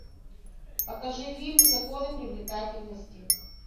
покажи фильм законы привлекательности